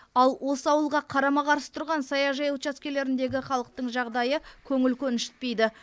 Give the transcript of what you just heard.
ал осы ауылға қарама қарсы тұрған саяжай учаскелеріндегі халықтың жағдайы көңіл көншітпейді